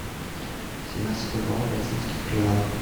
семнадцать бальбоа в бразильских реалах